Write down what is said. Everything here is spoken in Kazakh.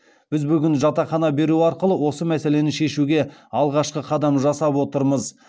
біз бүгін жатақхана беру арқылы осы мәселені шешуде алғашқы қадам жасап отырмыз